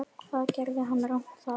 Hvað gerði hann rangt þar?